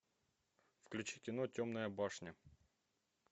включи кино темная башня